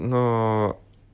ну